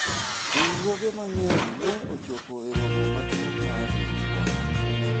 riwruoge mang'eny ne ochopo e romo maduong' mar riwruoge